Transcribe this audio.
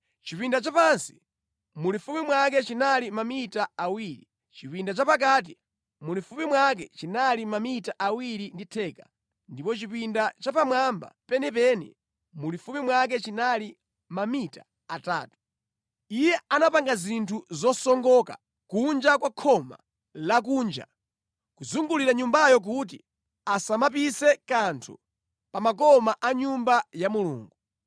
Chipinda chapansi, mulifupi mwake chinali mamita awiri, chipinda chapakati mulifupi mwake chinali mamita awiri ndi theka ndipo chipinda chapamwamba penipeni mulifupi mwake chinali mamita atatu. Iye anapanga zinthu zosongoka kunja kwa khoma la kunja kuzungulira Nyumbayo kuti asamapise kanthu pa makoma a Nyumba ya Mulungu.